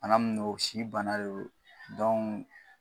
Bana min do si bana de don